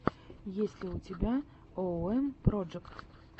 есть ли у тебя оуэм проджэкт